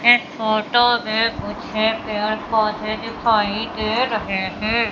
इस फोटो में कुछ पेड़ पौधे दिखाई दे रहे हैं।